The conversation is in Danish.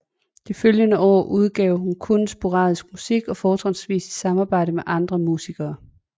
De følgende år udgav hun kun sporadisk musik og fortrinsvis i samarbejde med andre musikere